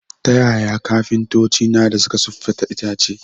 Ta yaya kafintoci na dā suka siffata itace?